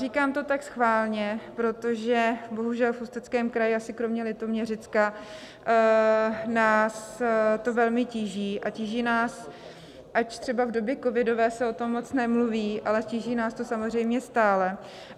Říkám to tak schválně, protože bohužel v Ústeckém kraji, asi kromě Litoměřicka, nás to velmi tíží a tíží nás, ač třeba v době covidové se o tom moc nemluví, ale tíží nás to samozřejmě stále.